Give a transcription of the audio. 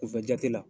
Kunfɛ jate la